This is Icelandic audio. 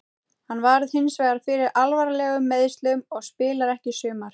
Hann varð hinsvegar fyrir alvarlegum meiðslum og spilar ekki í sumar.